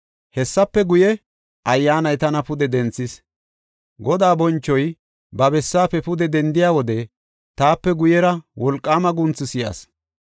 Hessafe guye, Ayyaanay tana pude denthis; Godaa bonchoy ba bessaafe pude dendiya wode taape guyera wolqaama guunthu si7as.